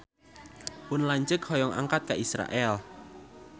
Pun lanceuk hoyong angkat ka Israel